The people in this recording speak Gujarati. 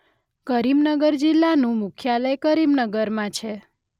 કરીમનગર જિલ્લાનું મુખ્યાલય કરીમનગરમાં છે.